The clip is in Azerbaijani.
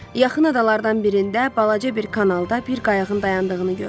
Yaxın adalardan birində balaca bir kanalda bir qayıqın dayandığını gördü.